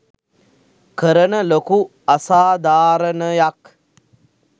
කරන ලොකු අසාදාරණයක්.